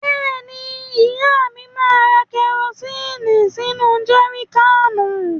Bẹ́ẹ̀ni, ìyá mi máa ra kẹrosíìnì sínú jẹri káànù.